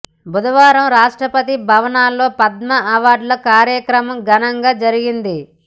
బుధవారం రాష్ట్రపతి భవన్లో పద్మ అవార్డుల కార్యక్రమం ఘనంగా జరిగింది